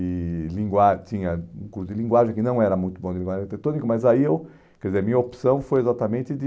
E língua tinha um curso de linguagem que não era muito bom de linguagem arquitetônica, mas aí eu... Quer dizer, minha opção foi exatamente de...